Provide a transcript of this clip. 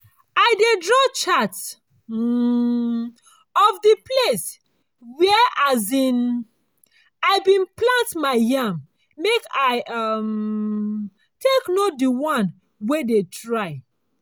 i dey draw chart um of di place where um i bin plant my yam make i um take know di one wey dey try.